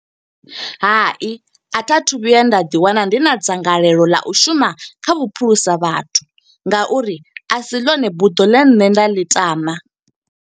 Hai a tha thu vhuya nda ḓi wana, ndi na dzangalelo ḽa u shuma kha vhuphulusa vhathu, nga uri a si ḽone buḓo ḽe nne nda ḽi tama.